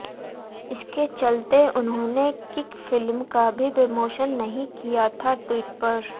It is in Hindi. इसके चलते उन्होंने किक फिल्म का भी प्रमोशन नहीं किया था ट्विटर पर